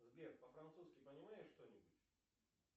сбер по французски понимаешь что нибудь